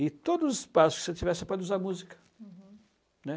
E todos os passos que você tiver, você pode usar música. Uhum. Né?